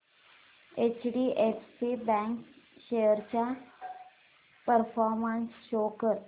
HDFC bank shares चा performance show कर